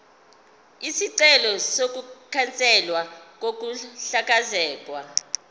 isicelo sokukhanselwa kokuhlakazwa